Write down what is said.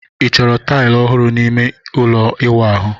Ị chọrọ taịlị ọhụrụ n'ime ime ụlọ ịwụ ahụ?